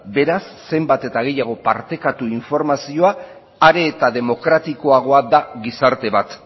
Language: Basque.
beraz zenbat eta gehiago partekatu informazioa are eta demokratikoagoa da gizarte bat